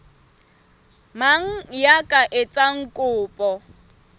mang ya ka etsang kopo